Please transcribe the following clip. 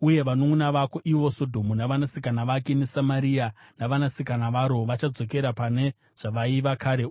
Uye vanunʼuna vako, ivo Sodhomu navanasikana vake neSamaria navanasikana vake,